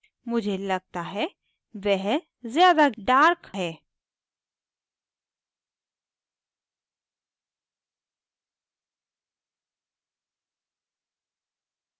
मुझे लगता है वह ज़्यादा dark है